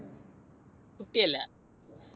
കുട്ടിയല്ല.